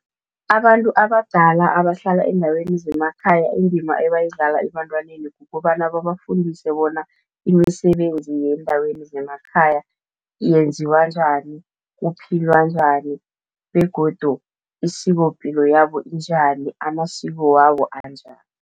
Abantu abadala abahlala eendaweni zemakhaya, indima ebayidlala ebantwaneni kukobana babafundise bona imisebenzi yendaweni zemakhaya yenziwa njani, kuphilwa njani begodu isikopilo yabo injani, amasiko wabo anjani.